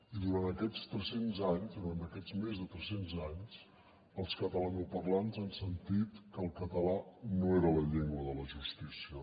i durant aquests tres cents anys durant aquests més de tres cents anys els catalanoparlants han sentit que el català no era la llengua de la justícia